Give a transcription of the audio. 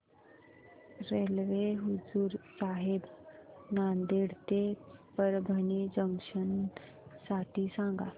railway Hazur Sahib Nanded ते Parbhani junction साठी सांगा